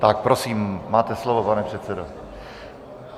Tak prosím, máte slovo, pane předsedo.